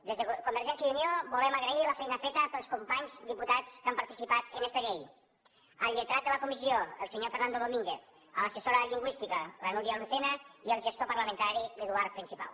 des de convergència i unió volem agrair la feina feta pels companys diputats que han participat en esta llei al lletrat de la comissió el senyor fernando domínguez a l’assessora lingüística la núria lucena i al gestor parlamentari l’eduard principal